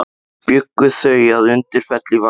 Bjuggu þau að Undirfelli í Vatnsdal.